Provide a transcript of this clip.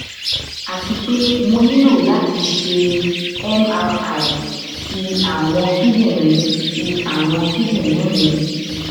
ati pe mo nilo lati ṣe mri ti awọn kidinrin ti awọn kidinrin mi